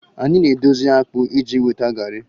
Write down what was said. Anyị na-edozi akpu iji nweta garri